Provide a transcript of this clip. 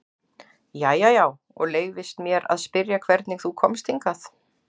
Jæja já, og leyfist mér að spyrja hvernig þú komst hingað?